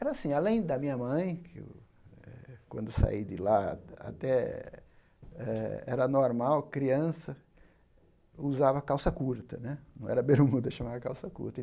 Era assim, além da minha mãe que eu, quando saí de lá até eh era normal, criança, usava calça curta né, não era bermuda, chamava calça curta.